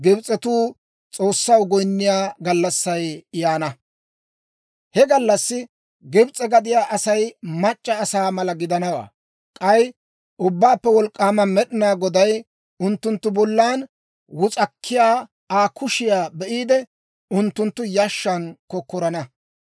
He gallassi Gibs'e gadiyaa Asay mac'c'a asaa mala gidanawaa. K'ay Ubbaappe Wolk'k'aama Med'inaa Goday unttunttu bollan wus'akkiyaa Aa kushiyaa be'iide, unttunttu yashshan kokkorana.